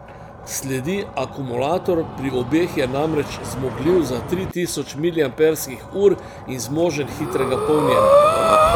Sledi akumulator, pri obeh je namreč zmogljiv za tri tisoč miliamperskih ur in zmožen hitrega polnjenja.